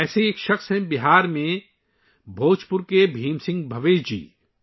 ایسے ہی ایک شخص ہیں بہار کے بھوجپور کے بھیم سنگھ بھاویش جی